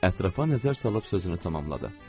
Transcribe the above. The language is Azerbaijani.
Ətrafa nəzər salıb sözünü tamamladı.